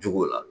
Jogow la